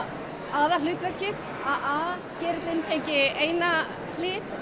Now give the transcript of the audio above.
aðalhlutverkið að a gerillinn fengi eina hlið